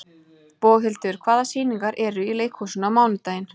Boghildur, hvaða sýningar eru í leikhúsinu á mánudaginn?